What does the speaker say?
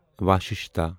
وَششتا